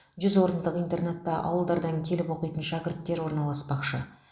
жүз орындық интернатта ауылдардан келіп оқитын шәкірттер орналаспақшы